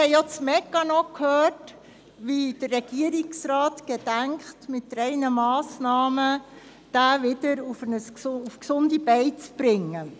Auch wurde uns der Mechanismus dargelegt, wie der Regierungsrat gedenkt ihn mit drei Massnahmen wieder auf die Beine zu bringen.